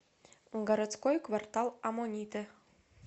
городской квартал аммонитэ